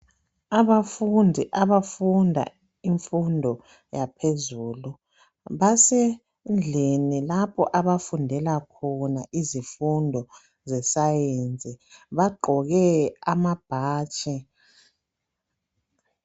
abafundi abafunda imfundo yaphezulu basendlini lapha abafundela khona izimfundo zesayensi bagqoke amabhatshi